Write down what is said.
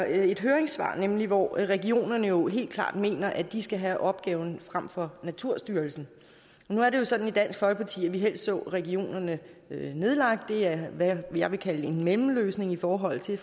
et høringssvar nemlig hvor regionerne jo helt klart mener at de skal have opgaven frem for naturstyrelsen nu er det jo sådan i dansk folkeparti at vi helst så regionerne nedlagt det er hvad jeg vil kalde en mellemløsning i forhold til